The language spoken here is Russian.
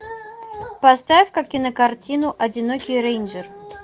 поставь ка кинокартину одинокий рейнджер